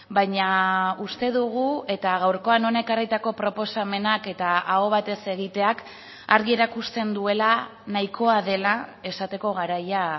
baina uste dugu eta gaurkoan hona ekarritako proposamenak eta aho batez egiteak argi erakusten duela nahikoa dela esateko garaia